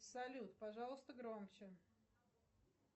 салют пожалуйста громче